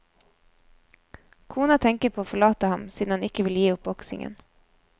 Kona tenker på å forlate ham siden han ikke vil gi opp boksingen.